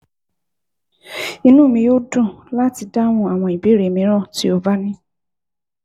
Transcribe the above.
Inú mi yóò dùn láti dáhùn àwọn ìbéèrè mìíràn tó o bá ní